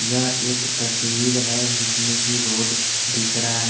क्या एक तस्वीर है जिसमें की रोड दिख रहा है।